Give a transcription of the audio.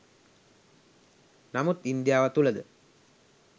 නමුත් ඉන්දියාව තුළ ද